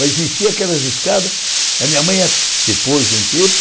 Mas desci, aquelas escadas, a minha mãe, depois de um tempo,